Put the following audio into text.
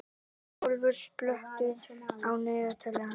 Herjólfur, slökktu á niðurteljaranum.